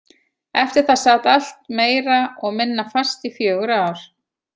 Eftir það sat allt meira og minna fast í fjögur ár.